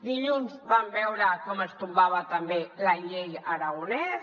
dilluns vam veure com es tombava també la llei aragonès